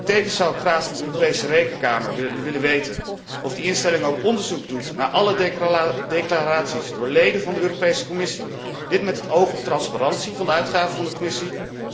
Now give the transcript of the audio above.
Tevens zou ik graag van de Europese Rekenkamer willen weten of die instelling ook onderzoek doet naar alle declaraties door leden van de Europese Commissie, dit met het oog op transparantie van de uitgaven van de Commissie.